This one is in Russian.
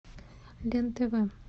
лен тв